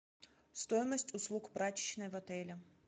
стоимость услуг прачечной в отеле